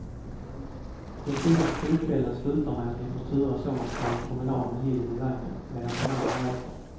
Den fina krogkvällen slutar med att ni får turas om att ta en promenad med lillen i vagnen medan den andre äter.